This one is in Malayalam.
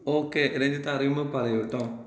ഓകെ. രഞ്ജിത്ത് അറിയുമ്പം പറയൂ ട്ടോ.